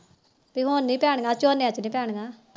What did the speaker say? ਪੀ ਹੁਣ ਨੀ ਪੈਣੀਆਂ ਝੋਨਿਆਂ ਚ ਨੀ ਪੈਣੀਆਂ